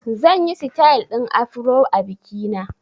Zan yi sitil ɗin Afro a biki na